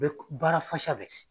baara fasa bɛɛ kɛ.